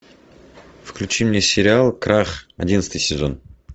включи мне сериал крах одиннадцатый сезон